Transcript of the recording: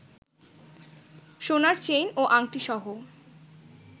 সোনার চেইন ও আংটিসহ